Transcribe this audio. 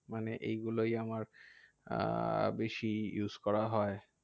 মানে এই গুলোই আমার আহ বেশি use করা হয়।